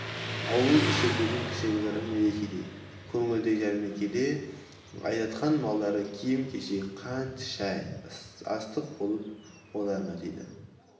ауыл іші бүгін кішігірім мерекедей көңілді жәрмеңкеге айдатқан малдары киім-кешек қант шай астық болып қолдарына тиді